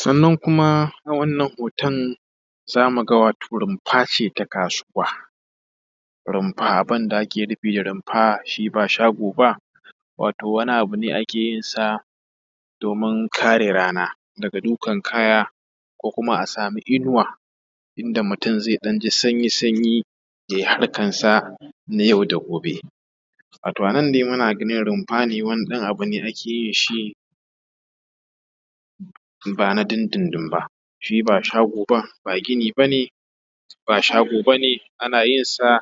Sannan kuma a wannan hoton zamu ga wato rumfa ce ta kasuwa. Rumfa abin da ake nufi da rumfa shi ba shago ba, wato wani abu ne da ake yinsa domin kare rana. Daga dukkan kaya ko kuma a samu inuwa inda mutum zai ji sanyi-sanyi, ya yi harkarsa na yau da gobe. Wato a nan dai muna ganin rumfa ne, wani ɗan abu ne ake yin shi ba na dun-dun-dun ba, shi ba shago ba, ba gini ba ne, ba kuma shago ba ne. Ana yin sa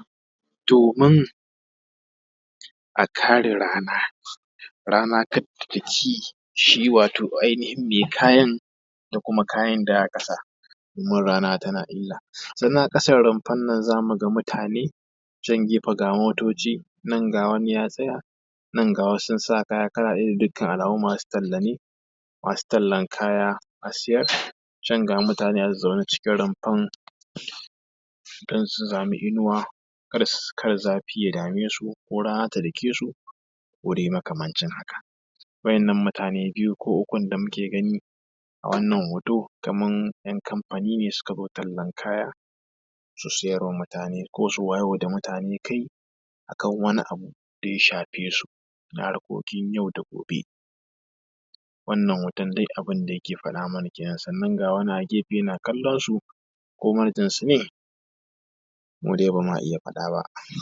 domin a kare rana, rana kar ta dake shi wato ainihin mai kayan, da kuma kayan da aka kasa domin rana tana illa. Sannan a ƙasar rumfar nan zaka ga mutane can gefe, ga motoci nan, ga wani ya tsaya nan, ga wasu sun sa kaya kala ɗaya. Ga dukkan alamu masu talle ne, masu tallan kaya a sayar. Can ga mutane a zaune cikin rumfar, don su samu inuwa kar zafi ya dame su, ko rana ta dake su; ko dai makamancin haka. waɗannan mutane da muke gani a wannan hoto, kamar ‘yan kamfani ne suka zo tallar kaya, su sayar wa da mutane. Ko su wayar wa da mutane kai a kan wani abu da ya shafe su, na harkokin yau da gobe. Wannan hoton dai abin da yake faɗa mana kenan, ga wani a gefe yana kallonsu ko manajansu ne? mu dai ba ma iya faɗa ba.